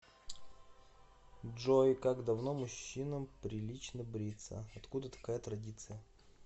джой как давно мужчинам прилично бриться откуда такая традиция